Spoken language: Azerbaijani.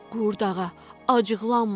Qurdağa, acıqlanma.